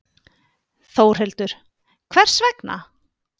Þórhildur: Hvers vegna?